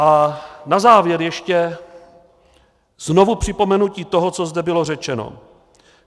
A na závěr ještě znovu připomenutí toho, co zde bylo řečeno.